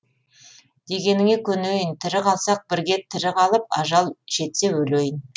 дегеніңе көнейін тірі қалсақ бірге тірі қалып ажал жетсе өлейін